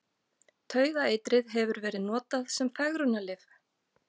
Taugaeitrið hefur verið notað sem fegrunarlyf.